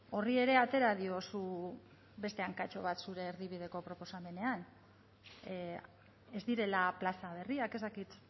horri ere atera diozu beste hankatxo bat zure erdibideko proposamenean ez direla plaza berriak ez dakit